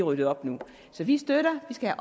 ryddet op nu så vi støtter vi skal